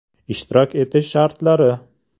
Ishtirok etish shartlari!